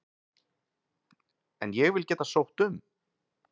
En ég vil geta sótt um.